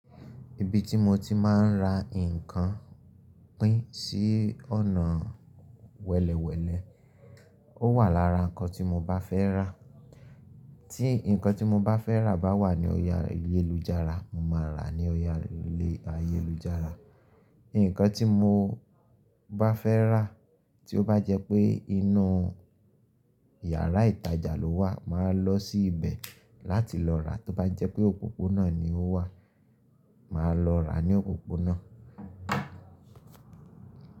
Ibi tí mo ti máa ń ra nǹkan pín sí ọ̀nà wẹ̀lẹ̀wẹ̀lẹ̀. Ó wà lára nǹkan tí mo bá fẹ́ rà. Tí nǹkan tí mo bá fẹ́ rà bá wà ní ọrí Ayélujára, mo máa rà á ní ọjà Ayélujára. Nǹkan tí mo bá fẹ́ rà tí ó bá jẹ́ pé inú yàrá ìtajà ló wà, màá lọ sí ibẹ̀ láti lọ rà á. Tó bá jẹ́ pé òpópónà ni ó wà, màá lọ rà á ní òpópónà.